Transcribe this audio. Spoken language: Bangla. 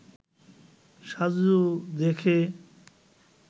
সাজু দেখে